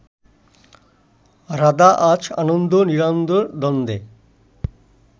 রাধা আজ আনন্দ নিরানন্দের দ্বন্দ্বে